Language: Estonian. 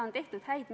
Kõnesoove ei ole.